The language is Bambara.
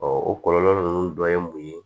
o kɔlɔlɔ ninnu dɔ ye mun ye